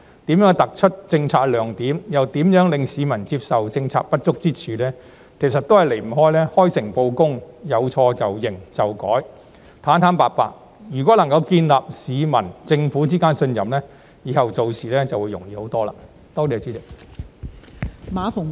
如何能突出政策亮點，又令市民接受政策的不足之處，其實也離不開"開誠布公"，有錯便承認和改正，坦坦白白，建立市民與政府之間的信任，這樣以後做事便容易得多。